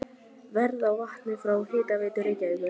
Verð á vatni frá Hitaveitu Reykjavíkur